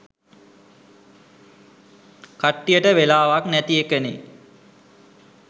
කට්ටියට වෙලාවක් නැති එකනේ.